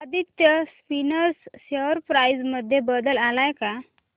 Aditya Spinners share price मध्ये बदल आलाय का